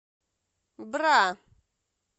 бра